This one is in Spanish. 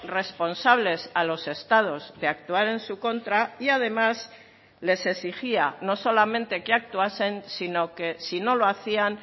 responsables a los estados de actuar en su contra y además les exigía no solamente que actuasen sino que si no lo hacían